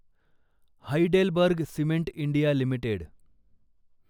Heidelberg Cement India limited